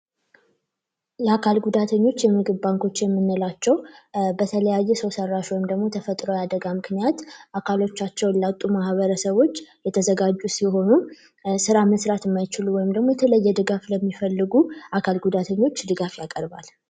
የአካል ጉዳተኞች የምግብ ባንኮች የሚመላቸው በተለያየ ሰው ሰራሽ ወይም ደግሞ ተፈጥሮ ያደጋ ምክንያት አካሎቻቸውን ለውጡ ማበረሰቦች የተዘጋጁ ሲሆኑ ስራ መስራት ወይም ደሞ የተለየ ድጋፍ ለሚፈልጉ አካል ጉዳተኞች ድጋፍ ያቀርባል